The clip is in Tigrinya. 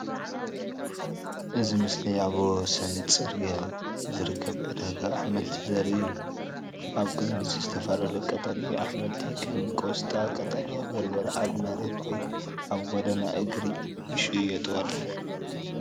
እዚ ምስሊ ኣብ ወሰን ጽርግያ ዝርከብ ዕዳጋ ኣሕምልቲ ዘርኢ እዩ። ኣብ ቅድሚት ዝተፈላለዩ ቀጠልያ ኣሕምልቲ ከም ቆስጣ፣ ቀጠልያ በርበረ ኣብ መሬት ወይ ኣብ ጎደና እግሪ ይሽየጡ ኣለዉ።